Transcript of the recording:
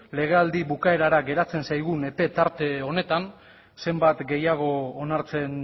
legealdi bukaerarako geratzen zaigu epe tarte honetan zenbat gehiago onartzen